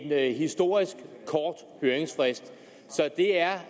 med en historisk kort høringsfrist så det er